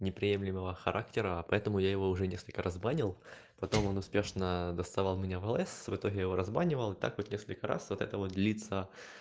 неприемлемого характера поэтому я его уже несколько раз банил потом он успешно доставал меня в лс в итоге я его разбанивал и так вот несколько раз вот это вот длится